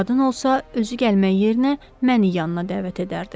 Qadın olsa, özü gəlmək yerinə məni yanına dəvət edərdi.